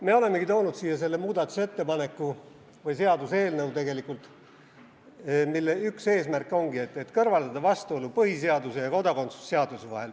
Me olemegi toonud siia selle seaduseelnõu, mille üks eesmärk on kõrvaldada vastuolu põhiseaduse ja kodakondsuse seaduse vahel.